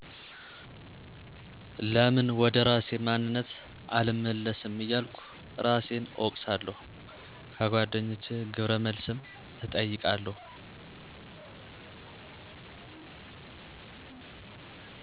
ለምን ወደ እራሴ ማንነት አልመለስም እያልኩ እራሴን እወቅሳለሁ። ከጎደኛቸ ግብረ መልስ እጠይቃለሁ።